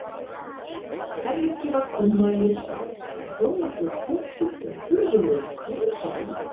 Hvergi var komma yfir staf en þó nokkuð af punktum og furðulegum krúsindúllum.